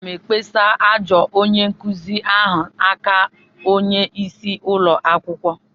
Aga m ekpesa ajọ onye-nkuzi ahụ n'aka onye-isi ụlọ akwukwo.